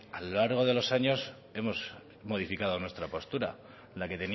a lo largo de los años hemos modificado nuestra postura la que